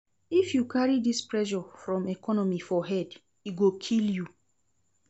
If you carry dis pressure from economy for head, e go kill you.